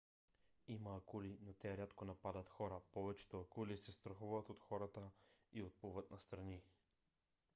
има акули но те рядко нападат хора. повечето акули се страхуват от хората и отплуват настрани